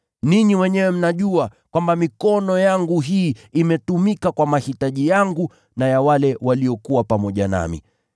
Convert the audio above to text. Ninyi wenyewe mnajua kwamba mikono yangu hii imetumika kwa mahitaji yangu na ya wale waliokuwa pamoja nami.